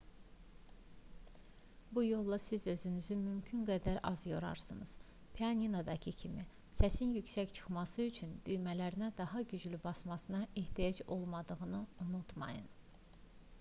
bu yolla siz özünüzü mümkün qədər az yorarsınız pianinodakı kimi səsin yüksək çıxması üçün düymələrinə daha güclü basmanıza ehtiyac olmadığını unutmayın